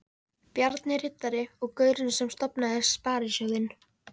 Bjarni riddari og gaurinn sem stofnaði Sparisjóðinn.